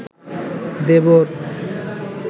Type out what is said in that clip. দেবর